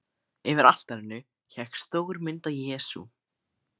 Yfir altarinu hékk stór mynd af Jesú.